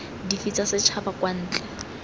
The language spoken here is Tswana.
dife tsa setšhaba kwa ntle